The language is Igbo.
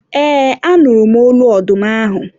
eee, a nụrụ m olu ọdụm ahụ